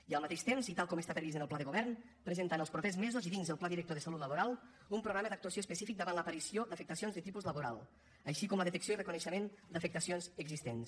i al mateix temps i tal com està previst en el pla de govern presentar en els propers mesos i dins del pla director de salut laboral un programa d’actuació específic davant l’aparició d’afectacions de tipus laboral com també la detecció i reconeixement d’afectacions existents